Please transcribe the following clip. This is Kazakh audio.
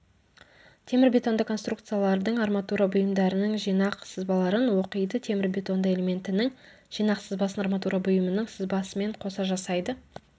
темірбетонды конструкциялардың арматура бұйымдарының жинақ сызбаларын оқиды темірбетонды элементінің жинақ сызбасын арматура бұйымының сызбасымен қоса жасайды